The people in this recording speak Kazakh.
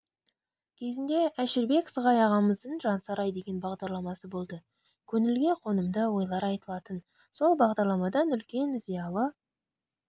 кезінде әшірбек сығай ағамыздың жансарай деген бағдарламасы болды көңілге қонымды ойлар айтылатын сол бағдарламадан үлкен зиялы